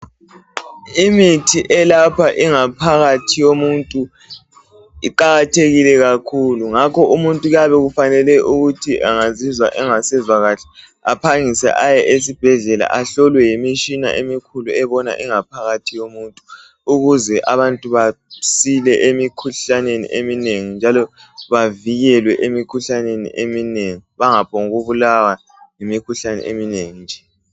Imithi elapha ingaphakathi yomuntu iqakathekile kakhulu ngakho umuntu kuyabe kufanele ukuthi angazizwa engasezwa kahle aphangise aye esibhedlela ahlolwe yimitshina emikhulu ebona ingaphakathi yomuntu ukuze abantu basile emikhuhlaneni eminengi njalo bavikelwe emikhuhlaneni eminengi bangaphombukubulawa yimikhuhlane eminengi nje.